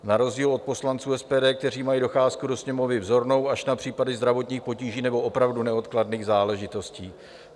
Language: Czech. Na rozdíl od poslanců SPD, kteří mají docházku do Sněmovny vzornou, až na případy zdravotních potíží nebo opravdu neodkladných záležitostí.